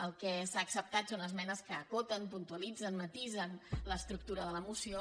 el que s’ha acceptat són esmenes que acoten puntualitzen matisen l’estructura de la moció